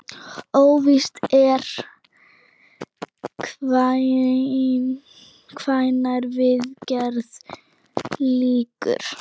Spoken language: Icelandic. Óvíst er hvenær viðgerð lýkur.